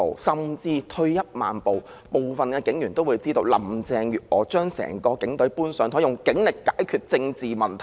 甚至退一萬步，部分警員也會知道林鄭月娥將整個警隊"搬上檯"，用警力解決政治問題。